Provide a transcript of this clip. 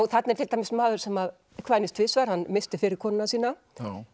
þarna er til dæmis maður sem kvænist tvisvar hann missti fyrri konuna sína